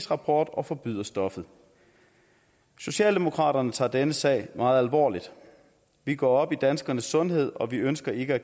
rapport og forbyder stoffet socialdemokraterne tager denne sag meget alvorligt vi går op i danskernes sundhed og vi ønsker ikke at